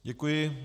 Děkuji.